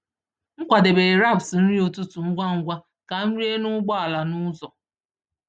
M kwadebere wraps nri ụtụtụ ngwa ngwa ka m rie n’ụgbọ ala n’ụzọ.